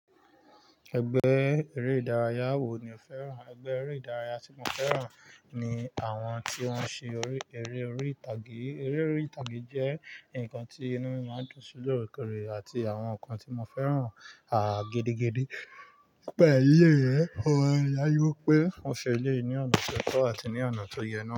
Ẹgbẹ́ eré ìdárayá wo ni o fẹ́ràn? Ẹgbẹ́ eré ìdárayá tí mo fẹ́ràn ni àwọn tí wọ́n ń ṣe eré orí ìtàgé. Eré orí ìtàgé jẹ́ nǹkan tí inú mi máa ń dùn sí lóòrèkòrè àti àwọn nǹkan tí mo fẹ́ràn, à, gẹ́dẹ́gẹ́dẹ́. Pẹ̀lú ẹ, ó yáwó pé wọ́n ṣe eléèní ọ̀nà tó tọ́ àti ní ọ̀nà tó yẹ na.